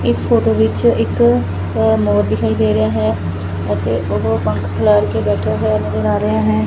ਇਸ ਫੋਟੋ ਵਿੱਚ ਇੱਕ ਮੋਰ ਦੀ ਦੇ ਰਿਹਾ ਹੈ ਅਤੇ ਉਹ ਪੰਖ ਖਿਲਾਰ ਕੇ ਬੈਠੇ ਹੋਏ ਨਜ਼ਰ ਆ ਰਹੇ ਨੇ।